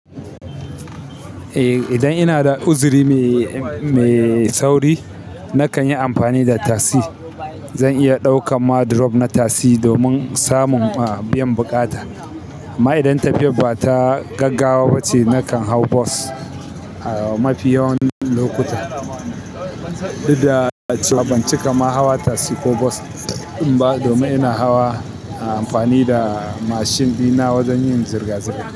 Ai idan ina da uzuri ne mai sauri nakan yi amfani da tasi. Zan iya ɗauka ma drop na tassi domin samun biyan bukata. Amma idan tafiyar ba ta gaggawa ba ce, na kan haw bos a mafi yawan lokuta. Duk da cewa ban cika ma hawa tasi ko bos din ba domin ina hawa amfani da mashin dina wajen yin zirga-zirga.